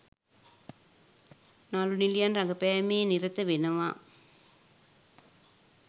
නලු නිලියන් රඟපෑමේ නිරත වෙනව